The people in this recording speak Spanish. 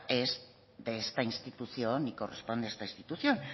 es de esta institución ni corresponde a esta institución